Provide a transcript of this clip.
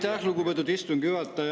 Aitäh, lugupeetud istungi juhataja!